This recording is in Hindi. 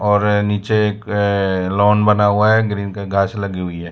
और नीचे एक अह लॉन बना हुआ है ग्रीन का घास लगी हुई है।